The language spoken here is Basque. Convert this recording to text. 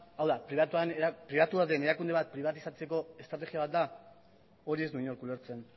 hau da pribatua den erakunde bat pribatizatzeko estrategia bat da hori ez du inork ulertzen